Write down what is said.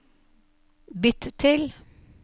bytt til